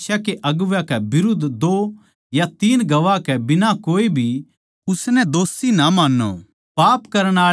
किसे भी कलीसिया के अगुवै के बिरुध्द दो या तीन गवाह के बिना कोए भी उसनै दोषी ना मान्नो